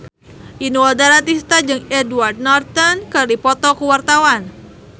Inul Daratista jeung Edward Norton keur dipoto ku wartawan